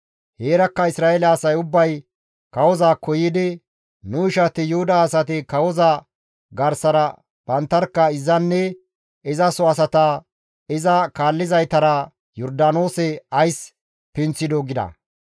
Heerakka Isra7eele asay ubbay kawozaakko yiidi, «Nu ishati Yuhuda asati kawoza garsara banttarkka izanne izaso asata, iza kaallizaytara Yordaanoose ays pinththidoo?» gida.